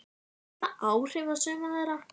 Hefur það áhrif á suma þeirra?